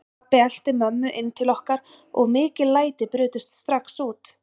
Pabbi elti mömmu inn til okkar og mikil læti brutust strax út.